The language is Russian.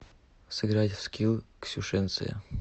сыграть в скилл ксюшенция